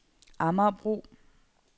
Amagerbro